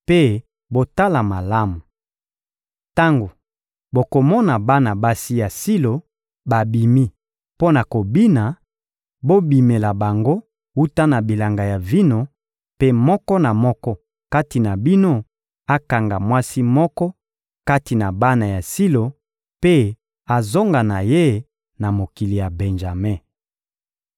mpe botala malamu. Tango bokomona bana basi ya Silo babimi mpo na kobina, bobimela bango wuta na bilanga ya vino, mpe moko na moko kati na bino akanga mwasi moko kati na bana ya Silo mpe azonga na ye na mokili ya Benjame.